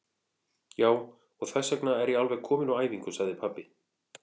Já, og þessvegna er ég alveg kominn úr æfingu, sagði pabbi.